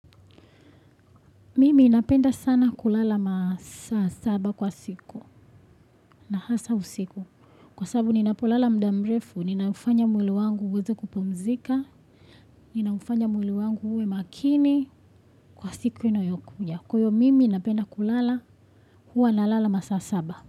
Mimi inapenda sana kulala masa saba kwa siku na hasa usiku. Kwa sababu ninapolala mdamrefu, ninaufanya mwili wangu uweza kupumzika, ninaufanya mwili wangu uwe makini kwa siku inayokuja. Kuyo mimi napenda kulala huwa na lala masa saba.